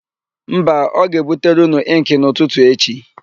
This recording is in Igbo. Mba, ọ ga-ebutere ụnụ ịnkị n'ụtụtụ echi.